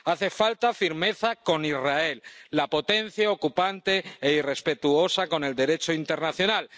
Hace falta firmeza con Israel, la potencia ocupante e irrespetuosa con el Derecho internacional.